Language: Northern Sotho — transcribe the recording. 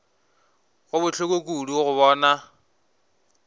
go bohloko kudu go bona